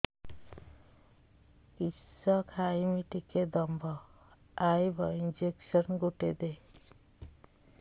କିସ ଖାଇମି ଟିକେ ଦମ୍ଭ ଆଇବ ଇଞ୍ଜେକସନ ଗୁଟେ ଦେ